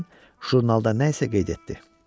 deyə müəllim jurnalda nə isə qeyd etdi.